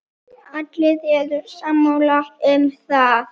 Allir eru sammála um það.